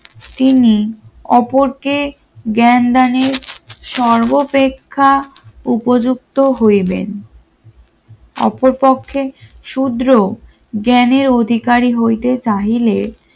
তিনি অপরকে জ্ঞানদানের সর্বপেক্ষা উপযুক্ত হইবেন অপরপক্ষে শূদ্র জ্ঞানের অধিকারী হইতে চাহিলে